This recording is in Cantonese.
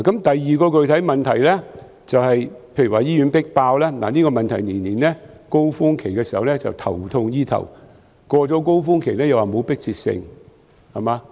第二個具體問題是醫院"迫爆"，政府在每年的高峰期總是頭痛醫頭，過了高峰期便說沒有迫切性。